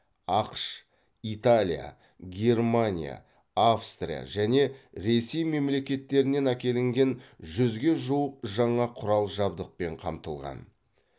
ақш италия германия австрия және ресей мемлекеттерінен әкелінген жүзге жуық жаңа құрал жабдықпен қамтылған